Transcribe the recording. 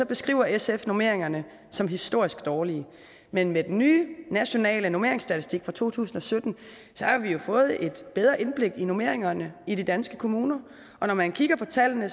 beskriver sf normeringerne som historisk dårlige men med den nye nationale normeringsstatistik fra to tusind og sytten har vi jo fået et bedre indblik i normeringerne i de danske kommuner og når man kigger på tallene